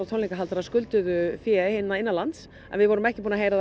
tónleikahaldarar skulduðu fé hérna innanlands en við vorum ekki búin að heyra